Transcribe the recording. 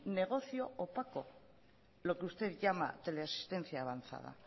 negocio opaco lo que usted llama teleasistencia avanzada